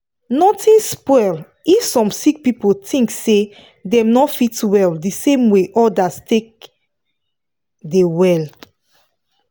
nothing spoil if some sick person thinks say dem no fit well the same way others take dey well